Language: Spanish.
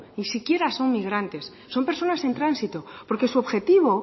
ni siquiera son migrantes son personas en tránsito porque su objetivo